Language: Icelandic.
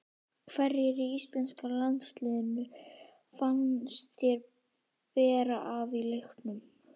Hverjir í íslenska liðinu fannst þér bera af í leiknum?